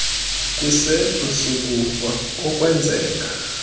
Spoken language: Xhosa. kwisehlo sokufa okwenzeka